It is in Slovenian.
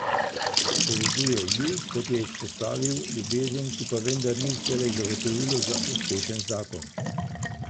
Povezuje ju, kot je izpostavil, ljubezen, ki pa vendar ni vselej zagotovilo za uspešen zakon.